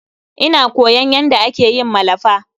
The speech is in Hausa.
Ina koyon yanda ake yin malafa.